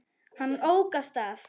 Hann ók af stað.